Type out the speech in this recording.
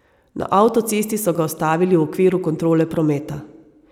Na avtocesti so ga ustavili v okviru kontrole prometa.